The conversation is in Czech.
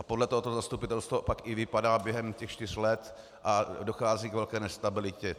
A podle toho to zastupitelstvo pak i vypadá během těch čtyř let a dochází k velké nestabilitě.